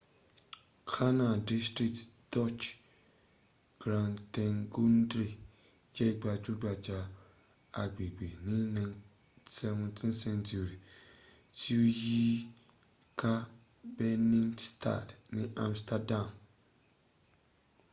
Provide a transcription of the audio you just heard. canal district dutch: grachtengordel je gbajugbaja agbegbe ni 17th-century ti o yi ka binnenstad ti amsterdam